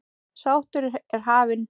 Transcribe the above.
Sláttur er hafinn.